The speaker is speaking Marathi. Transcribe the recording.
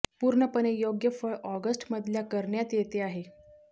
पूर्णपणे योग्य फळ ऑगस्ट मधल्या करण्यात येते आहे